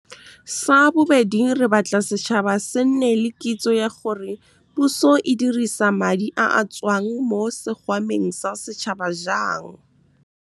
Sabobedi, re batla setšhaba se nne le kitso ya gore puso e dirisa madi a a tswang mo sekgwameng sa setšhaba jang. Sabobedi, re batla setšhaba se nne le kitso ya gore puso e dirisa madi a a tswang mo sekgwameng sa setšhaba jang.